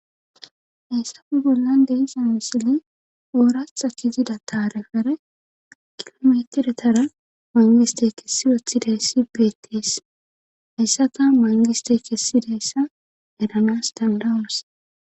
heysafe bollan deysa misili ooratha kizida taarefere kilometiretara mangiste kessi woththidayssi beettees hayssaka mangiste kessidayssa eranas dandawunas